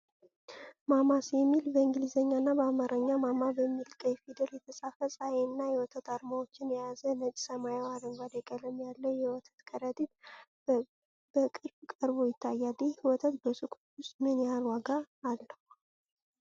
“ማማ’ስ” የሚል በእንግሊዝኛና በአማርኛ "ማማ" በሚል ቀይ ፊደል የተጻፈ፣ ፀሐይንና የወተት አርማዎችን የያዘ፣ ነጭ፣ ሰማያዊና አረንጓዴ ቀለም ያለው የወተት ከረጢት በቅርብ ቀርቦ ይታያል፤። ይህ ወተት በሱቆች ውስጥ ምን ያህል ዋጋ አለው?